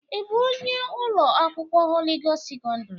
Ị bụ onye ụlọ akwụkwọ Holị Gost sekọndrị?